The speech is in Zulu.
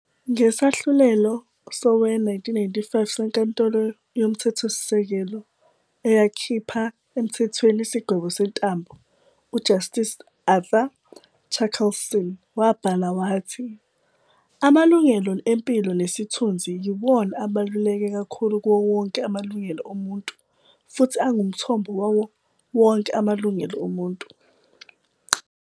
Ngesahlulelo sowe-1995 seNkantolo Yomthethosise-kelo eyakhipha emthethweni isigwebo sentambo, u-Justice Arthur Chaskalson wabhala wathi- "Amalungelo empilo nesithunzi yiwona abaluleke kakhulu kuwowonke amalungelo omuntu futhi angumthombo wawo wonke amalungelo omuntu."